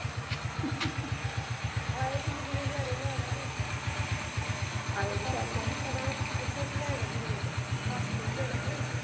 ਆਏ ਜਿੰਦਗੀ ਦੇ ਨਜਾਰੇ ਲੈਣ ਇੱਥੋਂ ਕੀ ਲੈਣਾਦੁਨੀਆ ਤੋਂ ਹੱਸ ਕੇ ਜਾਣਾ ਕਿ ਨਹੀਂ?